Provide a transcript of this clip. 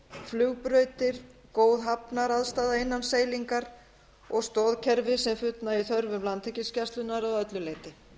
flugbrautir góð hafnaraðstaða innan seilingar og stoðkerfi sem fullnægir þörfum landhelgisgæslunnar að öllu leyti